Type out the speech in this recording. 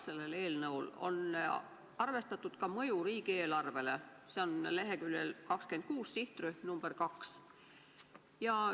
Seletuskirjas on arvestatud ka mõju riigieelarvele, see on leheküljel 26, sihtrühm number 2.